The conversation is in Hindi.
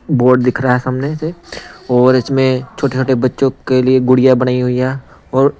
बोर्ड दिख रहा है सामने से और इसमें छोटे-छोटे बच्चों के लिए गुड़िया बनाई हुई है और--